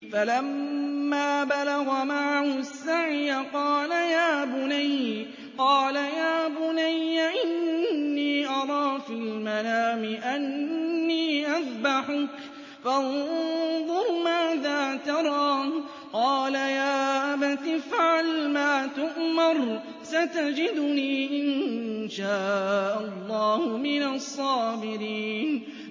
فَلَمَّا بَلَغَ مَعَهُ السَّعْيَ قَالَ يَا بُنَيَّ إِنِّي أَرَىٰ فِي الْمَنَامِ أَنِّي أَذْبَحُكَ فَانظُرْ مَاذَا تَرَىٰ ۚ قَالَ يَا أَبَتِ افْعَلْ مَا تُؤْمَرُ ۖ سَتَجِدُنِي إِن شَاءَ اللَّهُ مِنَ الصَّابِرِينَ